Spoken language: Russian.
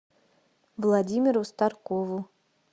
владимиру старкову